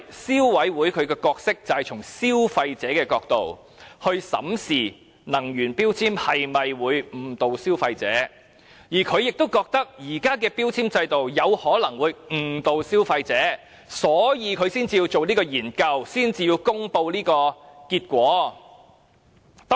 消委會的角色只是從消費者的角度，審視能源標籤會否誤導消費者，由於它也覺得現時的標籤計劃有可能誤導消費者，所以便會進行研究並公布結果。